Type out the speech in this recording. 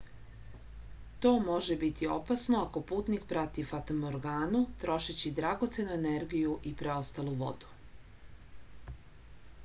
to može biti opasno ako putnik prati fatamorganu trošeći dragocenu energiju i preostalu vodu